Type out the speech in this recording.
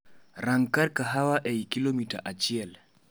Rang kar kahawa eiy kilomita achie